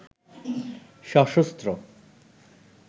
সশস্ত্র